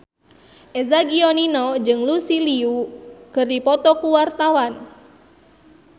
Eza Gionino jeung Lucy Liu keur dipoto ku wartawan